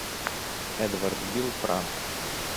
эдвард бил пранк